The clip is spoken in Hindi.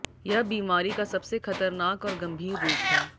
यह बीमारी का सबसे खतरनाक और गंभीर रूप है